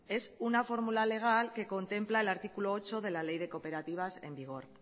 es una fórmula legal que contempla el artículo ocho de la ley de cooperativas en vigor